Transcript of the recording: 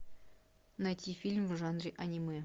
найти фильм в жанре анимэ